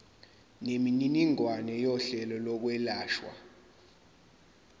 nemininingwane yohlelo lokwelashwa